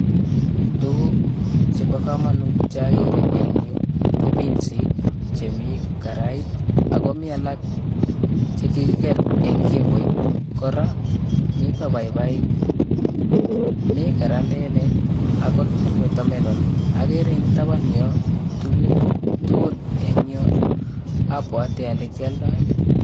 Tuguk chebo kamanut che akere eng yu ko pinsik chemi karait, ako mi alak che kikiker eng kimboit, kora mito paipaik, mi karandelek akot watermelon, akere eng taban yo tuguk tugul eng yo abwati ale kyoldoi.